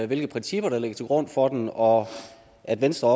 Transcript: hvilke principper der ligger til grund for den og at venstre